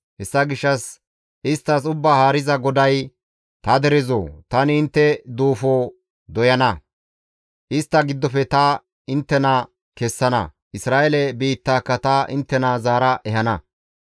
Hessa gishshas isttas Ubbaa Haariza GODAY, ‹Ta derezoo! Tani intte duufo doyana; istta giddofe ta inttena kessana; Isra7eele biittaaka ta inttena zaara ehana.